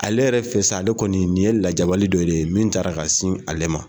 Ale yɛrɛ fɛ sa, ale kɔni nin ye lajabali dɔ ye min ta la ka sin ale ma.